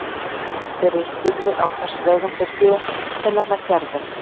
Þeir eru spurðir á hvers vegum þeir séu og þeir nefna Gerði.